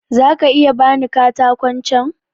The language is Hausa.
Za ka iya ba ni katakon can?